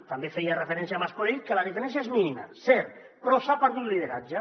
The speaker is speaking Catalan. també feia referència mas colell que la diferència és mínima cert però s’ha perdut lideratge